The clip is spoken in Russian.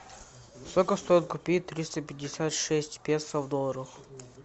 сколько стоит купить триста пятьдесят шесть песо в долларах